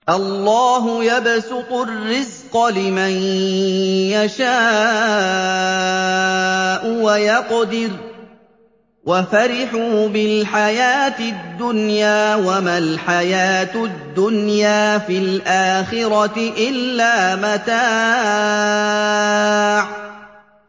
اللَّهُ يَبْسُطُ الرِّزْقَ لِمَن يَشَاءُ وَيَقْدِرُ ۚ وَفَرِحُوا بِالْحَيَاةِ الدُّنْيَا وَمَا الْحَيَاةُ الدُّنْيَا فِي الْآخِرَةِ إِلَّا مَتَاعٌ